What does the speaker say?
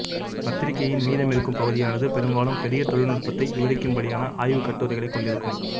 பத்திரிகையின் மீதமிருக்கும் பகுதியானது பெரும்பாலும் பெரிய தொழில்நுட்பத்தை விவரிக்கும்படியான ஆய்வுக் கட்டுரைகளைக் கொண்டிருக்கும்